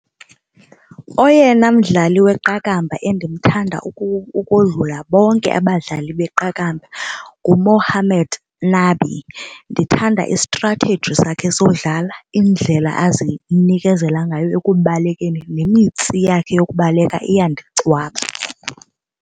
Oyena mdlali weqakamba endimthanda ukodlula bonke abadlali beqakamba nguMohammad Nabi. Ndithanda i-strategy sakhe sokudlala indlela azinikezela ngayo ekubalekeni, nemitsi yakhe yokubaleka iyandicwaba.